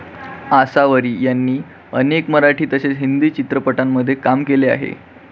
आसावरी यांनी अनेक मराठी तसेच हिंदी चित्रपटांमध्ये काम केले आहे.